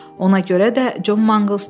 Ona görə də Con Manqles dedi: